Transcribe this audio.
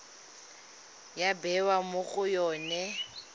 ya bewa mo go yone